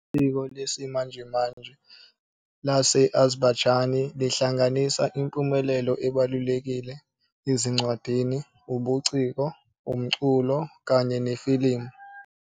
Isiko lesimanje lesi-Azerbaijani lihlanganisa impumelelo ebalulekile ezincwadini, ubuciko, umculo, kanye nefilimu.